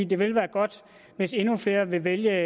det ville være godt hvis endnu flere ville vælge